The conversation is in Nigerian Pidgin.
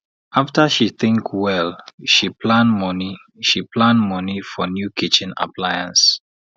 after she think well she plan money she plan money for new kitchen appliance